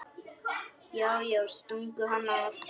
Já, já, stungu hann af!